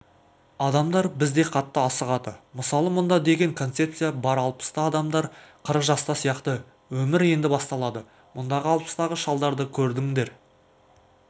адамдар бізде қатты асығады мысалы мұнда деген концепция бар алпыста адамдар қырық жаста сияқты өмір енді басталады мұндағы алпыстағы шалдарды көрдіңдер